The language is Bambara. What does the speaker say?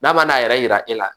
N'a ma n'a yɛrɛ yira e la